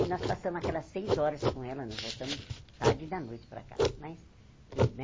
E nós passamos aquelas seis horas com ela, nós voltamos tarde da noite para casa mas.